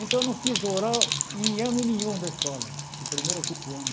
Então eu não fiz oral em ano nenhum da escola, do primeiro ao quinto ano.